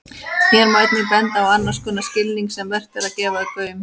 Hér má einnig benda á annars konar skilning sem vert er að gefa gaum.